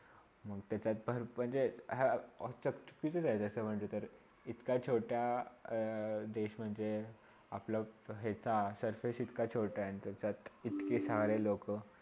मग त्याच्यात पण म्हणजे अह असे म्हटले तर. इतका छोटा अ देश म्हणजे आपल्या यहाचा surface इतका छोटा आहे त्याच्यात इतकी साऱ्या लोका